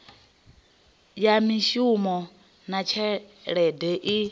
ya mishumo na tshelede i